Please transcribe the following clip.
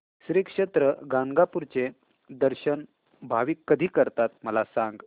श्री क्षेत्र गाणगापूर चे दर्शन भाविक कधी करतात मला सांग